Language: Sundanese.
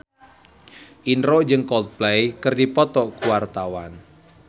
Indro jeung Coldplay keur dipoto ku wartawan